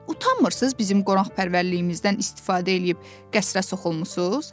Utanmırsınız bizim qonaqpərvərliyimizdən istifadə eləyib qəsrə soxulmusunuz, hə?